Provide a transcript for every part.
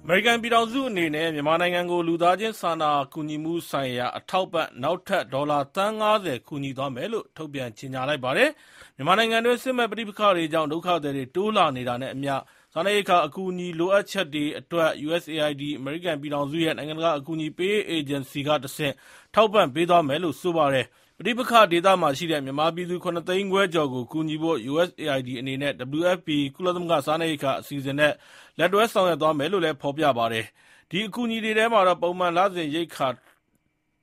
အမေရိကန်ပြည်ထောင်စုအနေနဲ့ မြန်မာနိုင်ငံကို လူသားချင်းစာနာကူညီမှုဆိုင်ရာအထောက်အပံ့ နောက်ထပ် ဒေါ်လာ သန်း ၅၀ ကူညီသွားမယ်လို့ ထုတ်ပြန်ကြေညာပါတယ်။ မြန်မာနိုင်ငံတွင်း စစ်မက်ပဋိပက္ခတွေကြောင့် ဒုက္ခသည်တွေတိုးလာနေတာနဲ့အမျှ စားနပ်ရိက္ခာအကူအညီ လိုအပ်ချက်တွေအတွက် အမေရိကန်ပြည်ထောင်စုရဲ့ နိုင်ငံတကာအကူအညီပေးရေးအေဂျင်စီ USAID ကတဆင့် ထောက်ပံ့ပေးသွားမယ်လို့ဆိုပါတယ်။ ပဋိပက္ခဒေသမှာရှိတဲ့ မြန်မာပြည်သူ ၇ သိန်းခွဲကျော်ကို ကူညီဖို့ USAID အနေနဲ့ WFP ကုလသမဂ္ဂ စားနပ်ရိက္ခာအစီအစဉ်နဲ့ လက်တွဲဆောင်ရွက်မယ်လို့လည်း ဖော်ပြပါတယ်။ ဒီအကူအညီတွေထဲမှာ ပုံမှန်လစဉ်ရိက္ခာ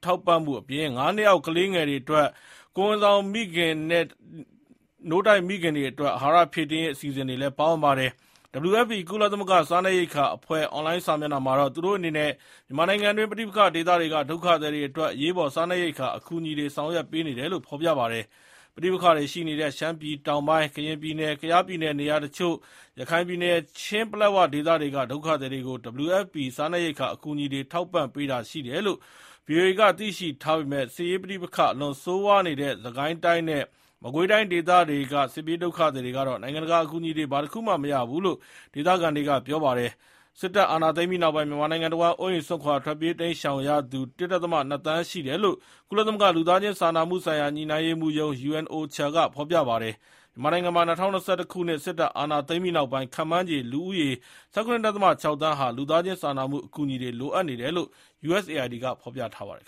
ထောက်ပံ့မှုအပြင် ငါးနှစ်အောက်ကလေးငယ်တွေ ကိုယ်ဝန်ဆောင်မိခင်နဲ့ နို့တိုက်မိခင်တွေအတွက် အဟာရဖြည့်တင်းရေး အစီအစဉ်တွေလည်းပါဝင်ပါတယ်။ WFP ကုလသမဂ္ဂစားနပ်ရိက္ခာအဖွဲ့ အွန်လိုင်းစာမျက်နှာမှာတော့ သူတို့အနေနဲ့ မြန်မာနိုင်ငံတွင်း ပဋိပက္ခဒေသတွေက ဒုက္ခသည်တွေအတွက် အရေးပေါ် စားနပ်ရိက္ခာအကူအညီတွေ ဆောင်ရွက်ပေးနေတယ်လို့ဖော်ပြပါတယ်။ ပဋိပက္ခတွေရှိနေတဲ့ ရှမ်းပြည်တောင်ပိုင်း၊ ကရင်ပြည်နယ်၊ ကယားပြည်နယ်နေရာတချို့၊ ရခိုင်ပြည်နယ်နဲ့ ချင်း ပလက်ဝဒေသတွေက ဒုက္ခသည်တွေကို WFP စားနပ်ရိက္ခာအကူအညီတွေ ထောက်ပံ့ပေးတာရှိတယ်လို့ VOA က သိရှိထားပေမယ့်၊ စစ်ရေး ပဋိပက္ခအလွန်ဆိုးဝါးနေတဲ့ စစ်ကိုင်းတိုင်းနဲ့ မကွေးတိုင်းဒေသတွေက စစ်ပြေးဒုက္ခသည်တွေကတော့ နိုင်ငံတကာအကူအညီတွေ ဘာတစ်ခုမှ မရဘူးလို့ ဒေသခံတွေက ပြောထားပါတယ်။ စစ်တပ်အာဏာ သိမ်းပြီးနောက် မြန်မာနိုင်ငံတဝှမ်း အိုးအိမ်စွန့်ခွာ တိမ်းရှောင်ကြသူပေါင်း ၁ ဒဿမ ၂ သန်း ရှိတယ်လို့ ကုလသမဂ္ဂ လူသားချင်းစာနာမှုဆိုင်ရာ ညှိနှိုင်းရေးမှူးရုံး UNOCHA က ဖော်ပြထားပါတယ်။ မြန်မာနိုင်ငံမှာ ၂၀၂၁ စစ်တပ်က အာဏာသိမ်းပြီးနောက်ပိုင်း ခန့်မှန်းချေ လူဦးရေ ၁၇.၆ သန်းဟာ လူသားချင်းစာနာမှုအကူအညီတွေ လိုအပ်နေတယ်လို့ USAID က ဖော်ပြထားပါတယ်